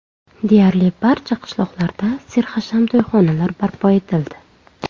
Deyarli barcha qishloqlarda serhasham to‘yxonalar barpo etildi.